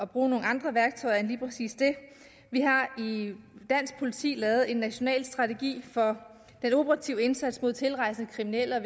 bruge nogle andre værktøjer end lige dansk politi lavet en national strategi for den operative indsats mod tilrejsende kriminelle og